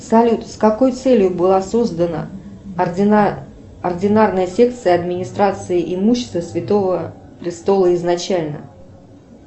салют с какой целью была создана ординарная секция администрации имущества святого престола изначально